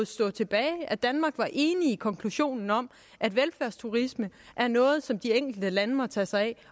stå tilbage at danmark var enig i konklusionen om at velfærdsturisme er noget som de enkelte lande må tage sig af